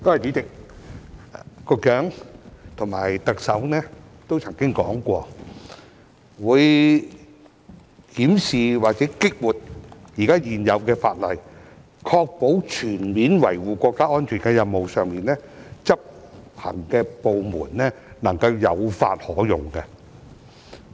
主席，局長和特首都曾經說過，會檢視或激活現有的法例，確保在全面維護國家安全的任務上，執行的部門能夠有法可用。